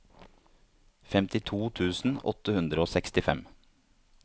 femtito tusen åtte hundre og sekstifem